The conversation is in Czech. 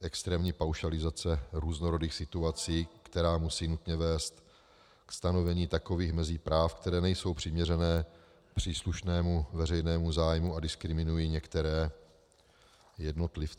extrémní paušalizace různorodých situací, která musí nutně vést ke stanovení takových mezí práv, které nejsou přiměřené příslušnému veřejnému zájmu a diskriminují některé jednotlivce.